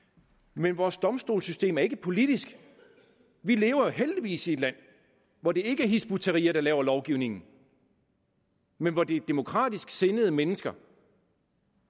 men vores domstolssystem er ikke politisk vi lever jo heldigvis i et land hvor det ikke er hizb ut tahrir der laver lovgivningen men hvor det er demokratisk sindede mennesker